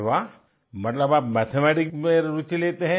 अरे वाह मतलब आप मैथमेटिक्स में भी रूचि लेते